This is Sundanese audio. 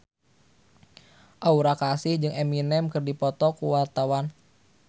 Aura Kasih jeung Eminem keur dipoto ku wartawan